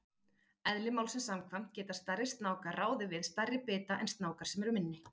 Eðli málsins samkvæmt geta stærri snákar ráðið við stærri bita en snákar sem eru minni.